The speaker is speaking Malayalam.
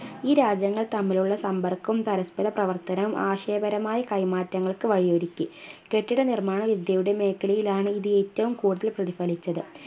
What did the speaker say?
ഈ രാജ്യങ്ങൾ തമ്മിലുള്ള സമ്പർക്കവും പരസ്പ്പര പ്രവർത്തനവും ആശയപരമായ കൈമാറ്റങ്ങൾക്ക് വഴിയൊരുക്കി കെട്ടിടനിർമ്മാണ വിദ്യയുടെ മേഖലയിലാണ് ഇത് ഏറ്റവും കൂടുതൽ പ്രതിഫലിച്ചത്